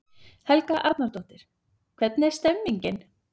Helga Arnardóttir: Hvernig er stemmningin?